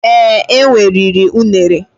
Ee, enwe riri unere